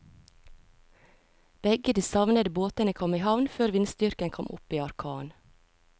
Begge de savnede båtene kom i havn før vindstyrken kom opp i orkan.